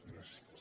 gràcies